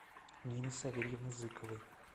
нины савельевны зыковой